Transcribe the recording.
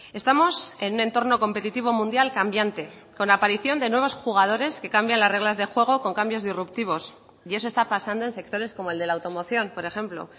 estamos en un entorno competitivo mundial cambiante con aparición de nuevos jugadores que cambian las reglas de juego con cambios disruptivos y eso está pasando en sectores como el de la automoción por ejemplo